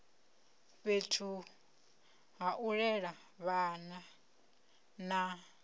fhethu hau lela vhana na